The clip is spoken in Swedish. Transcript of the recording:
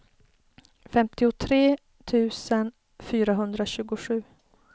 femtiotre tusen fyrahundratjugosju